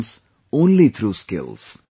happens only through skills